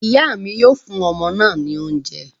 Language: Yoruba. Ìyá mi yóò fún ọmọ náà ní oúnjẹ